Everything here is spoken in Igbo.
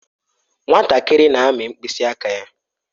Nwatakịrị na-amị mkpịsị aka ya.